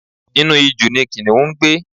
Inú ijù ni Kìnìún ń gbé.